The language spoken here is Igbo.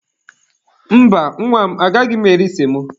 Mba, nwa m agaghị m eri semo.